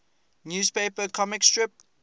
newspaper comic strip